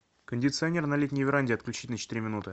кондиционер на летней веранде отключить на четыре минуты